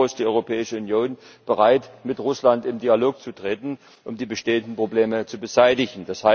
Nach wie vor ist die Europäische Union bereit, mit Russland in Dialog zu treten, um die bestehenden Probleme zu beseitigen.